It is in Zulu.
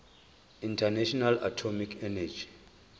international atomic energy